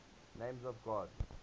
names of god